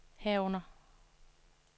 herunder